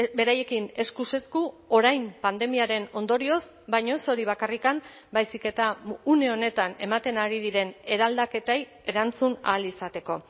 beraiekin eskuz esku orain pandemiaren ondorioz baina ez hori bakarrik baizik eta une honetan ematen ari diren eraldaketei erantzun ahal izateko